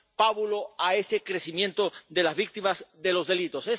pábulo a ese crecimiento de las víctimas, de los delitos.